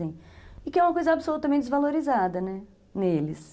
E que é uma coisa absolutamente desvalorizada, né, neles.